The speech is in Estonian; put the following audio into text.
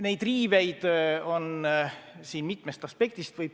Neid riiveid on siin mitmest aspektist.